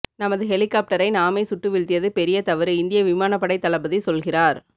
நமது ஹெலிகாப்டரை நாமே சுட்டு வீழ்த்தியது பெரிய தவறு இந்திய விமானப்படை தளபதி சொல்கிறார்